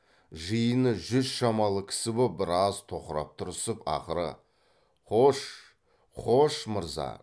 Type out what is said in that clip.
жиыны жүз шамалы кісі боп біраз тоқырап тұрысып ақыры қош қош мырза